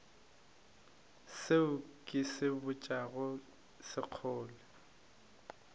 seo ke se botšago sekgole